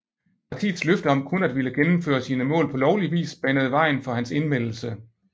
Partiets løfte om kun at ville gennemføre sine mål på lovlig vis banede vejen for hans indmeldelse